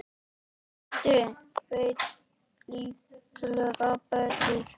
Doddi veit líklega betur.